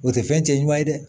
O tɛ fɛn cɛ ɲuman ye dɛ